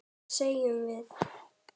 Hvað segjum við?